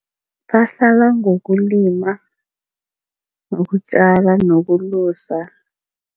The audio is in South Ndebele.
Bahlala ngokulima nokutjala nokulusa.